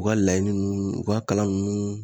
U ka laɲini nunnu u ka kalan nunnu